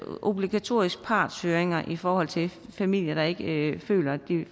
obligatoriske partshøringer i forhold til familier der ikke føler at de